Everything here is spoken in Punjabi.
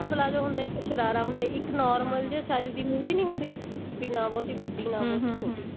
ਹਾਂ ਚੱਲ ਹੋਰ